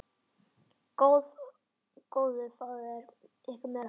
Góðu fáið ykkur meira.